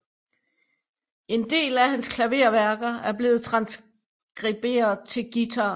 En del af hans klaverværker er blevet transkriberet til guitar